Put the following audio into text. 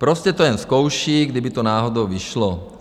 Prostě to jen zkouší, kdyby to náhodou vyšlo.